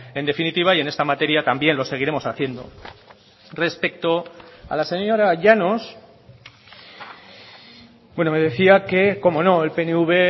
en definitiva y en esta materia también lo seguiremos haciendo respecto a la señora llanos bueno me decía que cómo no el pnv